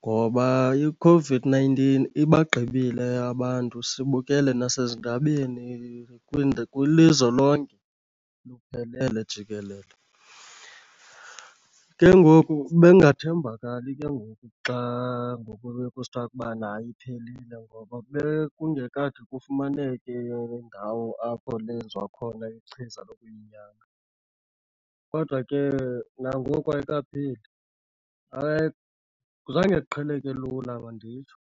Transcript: ngoba iCOVID-nineteen ibagqibile abantu sibukele nasezindabeni kwilizwe lonke luphelele jikelele. Ke ngoku bekungathembakali ke ngoku xa ngoku bekusithiwa ukubana iphelile, ngoba bekungekade kufumaneke ndawo apho lenziwa khona ichiza lokuyinyanga kodwa ke nangoku ayikapheli. Hayi zange iqheleke lula manditsho.